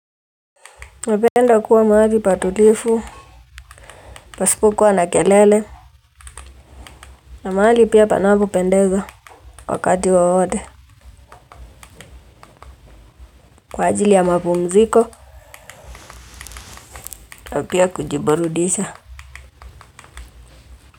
Napenda kuwa mahali pa tulivu pasipokuwa na kelele. Na mahali pia panapo pendeza wakati wowote. Kwa ajili ya mapumziko na pia kujiburudisha.